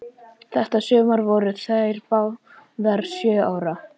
Þetta sumar voru þær báðar sjö ára.